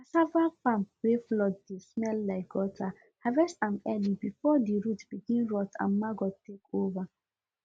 cassava farm wey flood dey smell like gutterharvest am early before the root begin rot and maggot take over